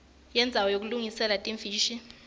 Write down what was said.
yendzawo yekulungiselela timfishi